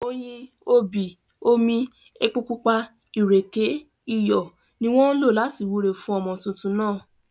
Oyin, obì, omi, epo pupa, ìrèké, iyọ̀, ni wọ́n lò láti wúre fún ọmọ tuntun náà